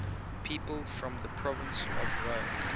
people from the province of rome